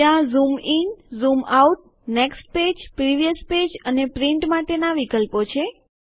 ત્યાં zoom in zoom out next page previous page અને print માટેના વિકલ્પો છે